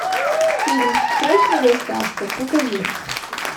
фильм срочная доставка покажи